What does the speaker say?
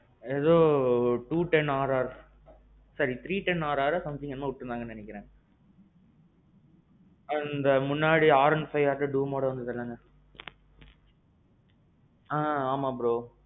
எதோ two ten RR. sorry three ten RRஓ என்னமோ விட்டிருந்தாங்கனு நெனைக்கிறேன்.